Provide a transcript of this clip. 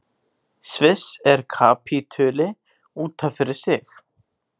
Sviss er kapítuli út af fyrir sig.